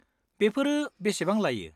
बेफोरो बेसेबां लायो?